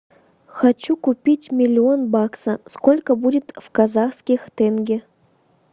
хочу купить миллион баксов сколько будет в казахских тенге